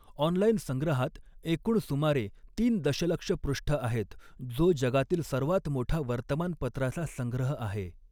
Online संग्रहात एकूण सुमारे तीन दशलक्ष पृष्ठ आहेत, जो जगातील सर्वात मोठा वर्तमानपत्राचा संग्रह आहे.